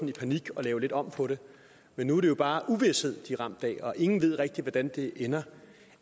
i panik at lave lidt om på det men nu er det jo bare uvished de er ramt af og ingen ved rigtig hvordan det ender